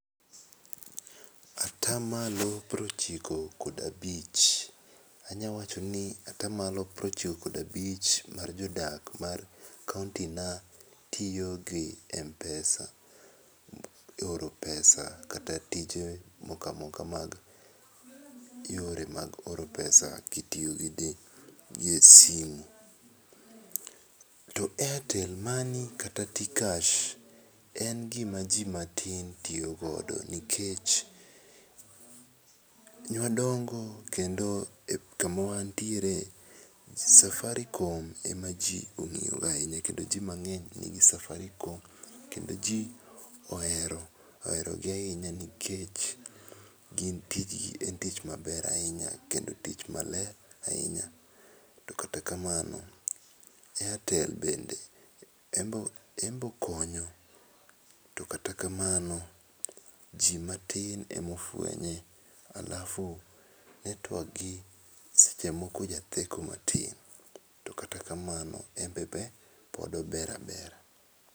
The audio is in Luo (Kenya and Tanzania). Ata malo piero ochiko ga abich, anya wacho ni ata malo piero ochiko ga abich mar jodak mar kaunti na tiyo gi mpesa, ioro pesa kata tij kata tij moko amoka mag ior mag oro pesa ki itiyo gi simo. To airtel money kata tkash en gi ma ji matin tiyo godo nikech ne wadongo kendo ka wan tiere safaricom e ma ji ong'iyo go ahinya kendo ji mang'eny tiyo gi safaricom kendo ji ohero gi ahinya nikech gin tij en tich maber ahinya kendo tich maler ahinya. To kata kamano airtel bende en be okonyo to kata kamano, ji matin ema ofwenye alafu network ne seche moko ja theko matin to kata kamano en be pod ober abera.